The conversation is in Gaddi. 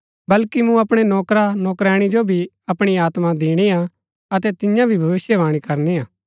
बल्कि मूँ अपणै नौकरानौकरैणी जो भी अपणी आत्मा दिणिआ अतै तियां भी भविष्‍यवाणी करनी हा